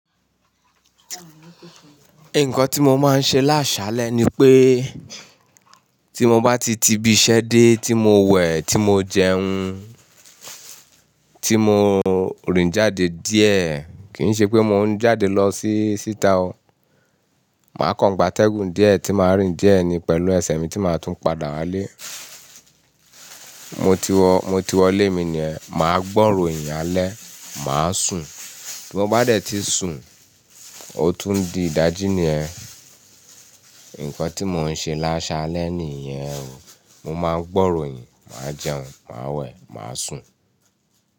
Nǹkan tí mo máa ń ṣe lásálẹ́ ni pé tí mo bá ti ti ibi iṣẹ́ dé tí mo wẹ̀, tí mo jẹun, tí mò ń rìn jáde díẹ̀, kì í ṣe pé mò ń jáde lọ sí síta o, màá kan gbatẹ́gùn díẹ̀ tí màá rìn díẹ̀ ni pẹ̀lú ẹsẹ̀ mi tí màá tún padà wálé. Mo ti wọ, mo ti wọlé mi ni ẹ́, màá gbọ́ ìròyìn alẹ́, màá sùn. Tí mo bá dẹ̀ tí sùn, ó tún di ìdájí ni ẹ́. Nǹkan tí mò ń ṣe lásálẹ́ nìyẹn o. Mo máa gbọ́ ìròyìn, màá jẹun, màá wẹ̀, màá sùn.